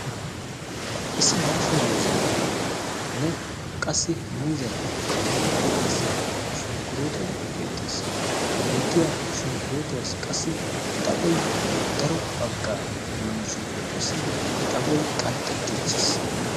issi daasha muuzeenne qassi muuzeaappe miyya baggaara qassi shonkkurootoy beettees ha beettiya shonkkurootuwaassi qassi xaphoy daro baggaa shonkkurootuwaassi xaphoy qanxxettiichchiis